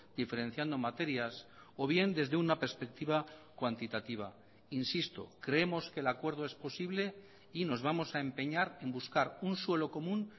diferenciando materias o bien desde una perspectiva cuantitativa insisto creemos que el acuerdo es posible y nos vamos a empeñar en buscar un suelo común